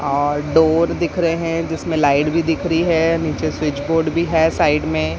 और डोर दिख रहे हैं जिसमें लाइट भी दिख रही है नीचे स्विच बोर्ड भी है साइड में।